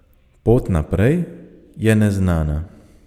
Pot naprej je neznana.